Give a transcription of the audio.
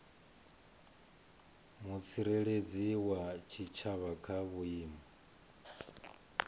mutsireledzi wa tshitshavha kha vhuimo